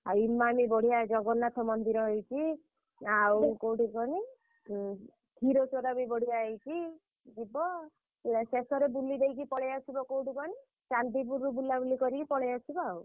ଆଉ ଇମାନି ବଢିଆ ଜଗନ୍ନାଥ ମନ୍ଦିର ହେଇଛି। ଆଉ କୋଉଠି କହନି ଉଁ କ୍ଷୀରଚୋରା ବି ବଢିଆ ହେଇଛି। ଯିବ। ପୁରା ଶେଷରେ ବୁଲିଦେଇକି ପଳେଇଆସିବ କୋଉଠି କହନି ଚାନ୍ଦିପୁରରୁ ବୁଲାବୁଲି କରିକି ପଳେଇଆସିବ ଆଉ।